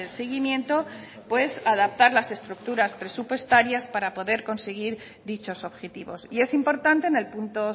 seguimiento pues adaptar las estructuras presupuestarias para poder conseguir dichos objetivos y es importante en el punto